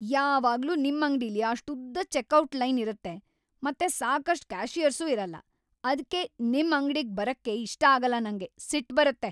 ಯಾವಾಗ್ಲೂ ನಿಮ್ ಅಂಗ್ಡಿಲಿ ಅಷ್ಟುದ್ದ ಚೆಕ್‌ಔಟ್ ಲೈನ್ ಇರತ್ತೆ ಮತ್ತೆ ಸಾಕಷ್ಟ್ ಕ್ಯಾಷಿಯರ್ಸೂ ಇರಲ್ಲ, ಅದ್ಕೇ ನಿಮ್‌ ಅಂಗ್ಡಿಗ್‌ ಬರಕ್ಕೇ ಇಷ್ಟ ಆಗಲ್ಲ ನಂಗೆ, ಸಿಟ್ಟ್‌ ಬರತ್ತೆ.